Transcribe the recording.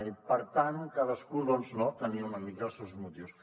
i per tant cadascú tenia una mica els seus motius